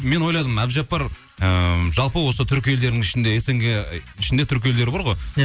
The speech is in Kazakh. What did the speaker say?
мен ойладым әбдіжаппар ыыы жалпы осы түрік елдерінің ішінде снг ішінде түрік елдері бар ғой иә